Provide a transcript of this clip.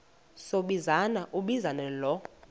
sombinza umbinza lo